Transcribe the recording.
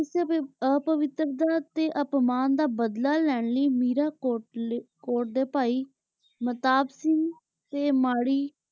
ਓਥੇ ਦੀ ਅਪਵਿਤ੍ਰਤਾ ਤੇ ਆਤਮਾਂ ਦਾ ਬਦਲਾਲੈ ਲੈਣ ਲੈ ਵੀਰਾ ਕੋਟ ਕੋਟ ਦੇ ਭਾਈ ਮਹਤਾਬ ਸਿੰਘ ਤੇ ਮਾਰੀ